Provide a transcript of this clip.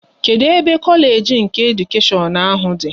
Kedụ ebe Kolage nke Edukashion ahụ dị?